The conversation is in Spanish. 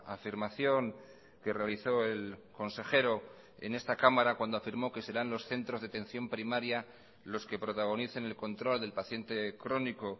afirmación que realizó el consejero en esta cámara cuando afirmó que serán los centros de atención primaria los que protagonicen el control del paciente crónico